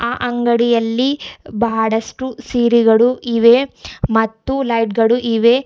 ಆ ಅಂಗಡಿಯಲ್ಲಿ ಬಹಳಷ್ಟು ಸೀರಿಗಳು ಇವೆ ಮತ್ತು ಲೈಟ್ ಗಳು ಇವೆ.